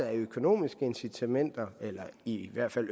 af økonomiske incitamenter eller i hvert fald